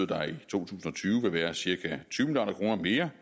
der i to tusind og tyve vil være cirka tyve milliard kroner mere